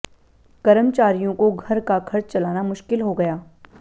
कर्मचारियों को घर का खर्च चलाना मुश्किल हो गया